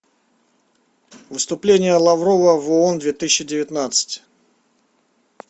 выступление лаврова в оон две тысячи девятнадцать